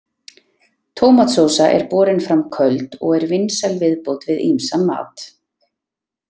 Tómatsósa er borin fram köld og er vinsæl viðbót við ýmsan mat.